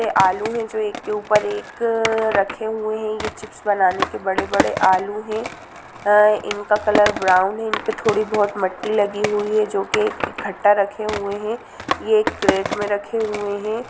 यह आलू है जो एक के ऊपर एक रखे हुए हैं ये चिप्स बनाने के बड़े-बड़े आलू है इनका कलर ब्राउन है इन पर थोड़ी बहुत मिट्टी लगी हुई है जो की इकट्ठा रखे हुए है ये कैरेट में रखे हुए हैं।